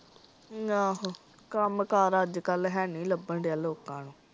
ਆਹੋ ਕੱਮ ਕਾਰ ਹੈ ਨੀ ਲੱਬਣ ਡਿਆ ਲੋਕਾਂ ਨੂੰ।